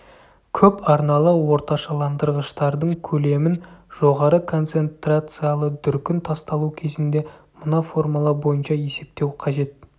көпарналы орташаландырғыштардың көлемін жоғары концентрациялы дүркін тасталу кезінде мына формула бойынша есептеу қажет